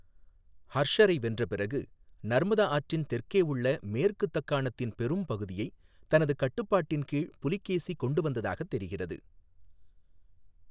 ஹர்ஷரை வென்ற பிறகு, நர்மதா ஆற்றின் தெற்கே உள்ள மேற்கு தக்காணத்தின் பெரும் பகுதியைத் தனது கட்டுப்பாட்டின் கீழ் புலிகேசி கொண்டு வந்ததாகத் தெரிகிறது.